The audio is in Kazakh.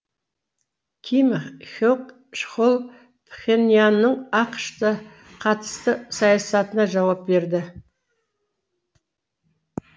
ким хе к чхоль пхеньянның ақш қа қатысты саясатына жауап берді